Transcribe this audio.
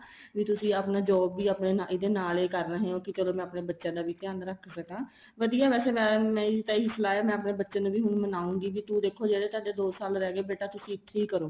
ਵੀ ਤੁਸੀਂ ਆਪਣਾ job ਵੀ ਇਹਦੇ ਨਾਲ ਹੀ ਕਰ ਰਹੇ ਹੋ ਚਲੋ ਮੈਂ ਆਪਣੇ ਬੱਚਿਆ ਦਾ ਵੀ ਧਿਆਨ ਰੱਖ ਸਕਾ ਵਧੀਆ ਏ ਵੈਸੇ ਮੇਰੀ ਵੀ ਇਹੀ ਸਲਾਹ ਮੈਂ ਆਪਣੇ ਬੱਚਿਆ ਨੂੰ ਵੀ ਹੁਣ ਮਨਾਉਗੀ ਕੀ ਤੂੰ ਦੇਖੋ ਜਿਹੜੇ ਤੁਹਾਡੇ ਦੋ ਸਾਲ ਰਹੇ ਗਏ ਬੇਟਾ ਤੁਸੀਂ ਇੱਥੇ ਹੀ ਕਰੋ